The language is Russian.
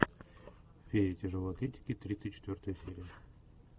фея тяжелой атлетики тридцать четвертая серия